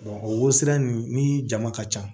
o wosinun ni jama ka ca